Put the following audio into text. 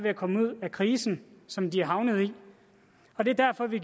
at komme ud af krisen som de er havnet i og det er derfor vi